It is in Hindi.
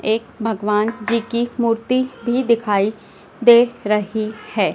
एक भगवान जी की मूर्ति भी दिखाई दे रही है।